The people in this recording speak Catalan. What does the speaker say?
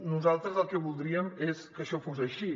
nosaltres el que voldríem és que això fos així